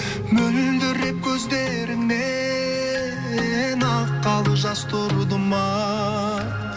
мөлдіреп көздеріңнен аққалы жас тұрды ма